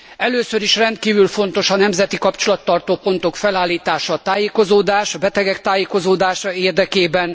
Először is rendkívül fontos a nemzeti kapcsolattartó pontok felállítása a tájékozódás, a betegek tájékozódása érdekében.